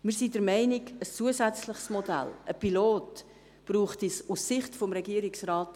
Aus Sicht des Regierungsrates sind wir der Meinung, dass ein zusätzliches Modell, ein Pilot nicht nötig ist.